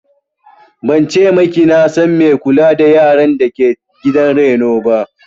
Ban ce maki na san mai kula da yaran dake gidan reno ba